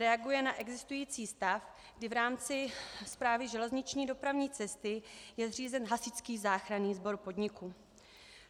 Reaguje na existující stav, kdy v rámci Správy železniční dopravní cesty je zřízen hasičský záchranný sbor podniku.